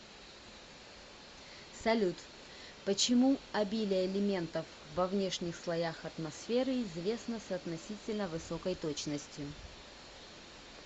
салют почему обилие элементов во внешних слоях атмосферы известно с относительно высокой точностью